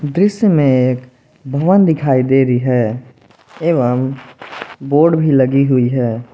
दृश्य में एक भगवान दिखाई दे रही है एवं बोर्ड भी लगी हुई है।